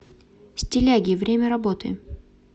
стиляги время работы